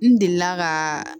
N delila ka